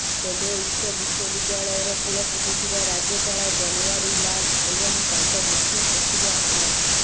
ତେବେ ଉକ୍ତ ବିଶ୍ୱବିଦ୍ୟାଳୟର କୂଳପତି ଥିବା ରାଜ୍ୟପାଳ ବନୱାରୀ ଲାଲ ଏବଂ ତାଙ୍କ ମୁଖ୍ୟ ସଚିବ ଆର୍